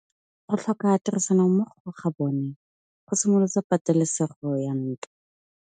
Go tlhoka tirsanommogo ga bone go simolotse patêlêsêgô ya ntwa.